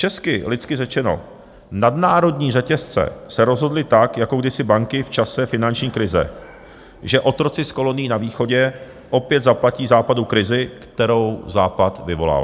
Česky, lidsky řečeno - nadnárodní řetězce se rozhodly, tak jako kdysi banky v čase finanční krize, že otroci z kolonií na Východě opět zaplatí Západu krizi, kterou Západ vyvolal.